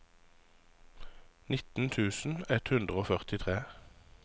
nitten tusen ett hundre og førtitre